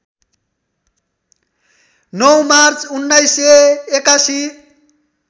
९ March १९८१